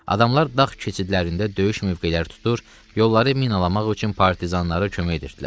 Adamlar dağ keçidlərində döyüş mövqeləri tutur, yolları minalamaq üçün partizanlara kömək edirdilər.